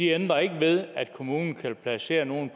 ændrer ikke ved at kommunen kan placere nogle